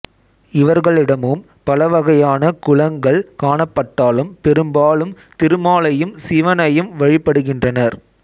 இவர்களிடமும் பலவகையான குலங்கள் காணப்பட்டாலும் பெரும்பாலும் திருமாலையும் சிவனையும் வழிபடுகின்றனர்